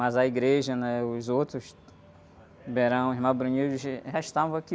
Mas a igreja, né? Os outros, já estavam aqui.